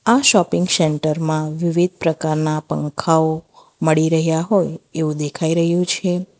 આ shopping centre માં વિવિધ પ્રકારના પંખાઓ મળી રહ્યા હોય એવું દેખાઈ રહ્યું છે.